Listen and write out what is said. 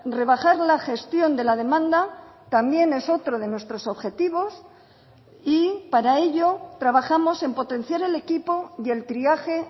rebajar la gestión de la demanda también es otro de nuestros objetivos y para ello trabajamos en potenciar el equipo y el triaje